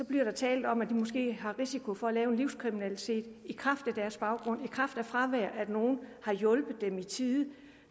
bliver talt om at de måske har risiko for en livskriminalitet i kraft af deres baggrund i kraft af fravær af at nogen har hjulpet dem i tide